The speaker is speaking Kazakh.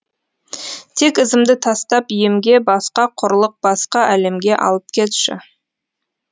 тек ізімді тастап емге басқа құрлық басқа әлемге алып кетші